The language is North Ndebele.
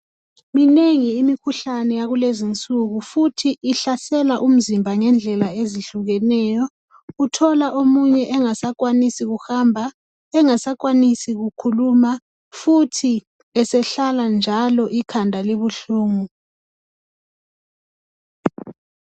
Minengi imikhuhlane yakulezinsuku futhi ihlasela umzimba ngendlela ezihlukeneyo uthola omunye engasakwanisi ukuhamba engasakwazisi kukhuluma futhi esehlala njalo ikhanda libuhlungu.